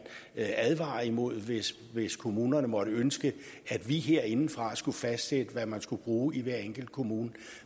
advare imod hvis hvis kommunerne måtte ønske at vi herindefra skulle fastsætte hvad man skal bruge i hver enkelt kommune